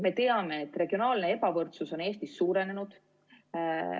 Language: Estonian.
Me teame, et regionaalne ebavõrdsus on Eestis suurenenud.